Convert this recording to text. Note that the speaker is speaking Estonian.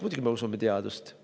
Muidugi me usume teadust.